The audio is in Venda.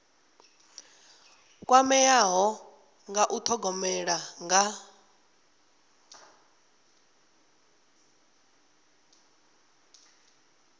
kwameaho nga u thogomela nga